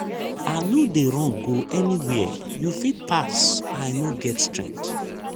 i no dey run go anywhere you fit pass i no get strength